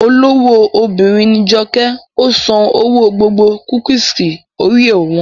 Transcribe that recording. Olówó obìnrin ní Joke, ó san owó gbogbo kúkìsì Oreo wọn